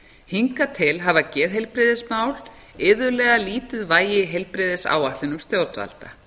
hingað til hafa geðheilbrigðismál iðulega lítið vægi í heilbrigðisáætlunum stjórnvalda